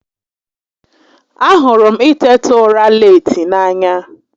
A hụrụ m i teta ura leeti n'anya